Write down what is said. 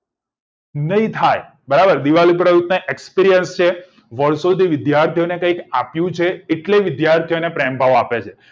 નહિ થાય બરાબર દિવાળી પર આવું થાય experience છે વરસોથી વિદ્યાર્થીઓને કઈ આપ્પ્યું છે એટલે વિદ્યાર્થી ને પ્રેમ ભાવ આપે છે